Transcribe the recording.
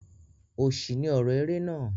Òṣì ni ọrọ eré náà.